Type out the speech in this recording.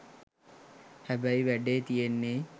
හැබයි වැඩේ තියෙන්නෙ